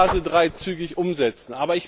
Wir wollen Basel III zügig umsetzen.